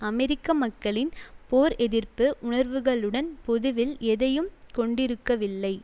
அமெரிக்க மக்களின் போர் எதிர்ப்பு உணர்வுகளுடன் பொதுவில் எதையும் கொண்டிருக்கவில்லை